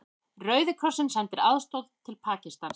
Rauði krossinn sendir aðstoð til Pakistans